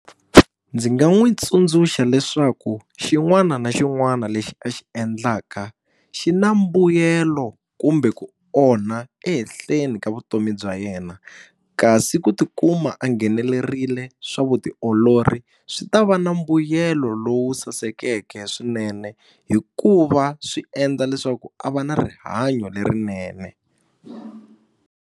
Ndzi nga n'wi tsundzuxa leswaku xin'wana na xin'wana lexi a xi endlaka xi na mbuyelo kumbe ku onha ehenhleni ka vutomi bya yena kasi ku ti kuma a nghenelerile swa vutiolori swi ta va na mbuyelo lowu sasekeke swinene hikuva swi endla leswaku a va na rihanyo lerinene.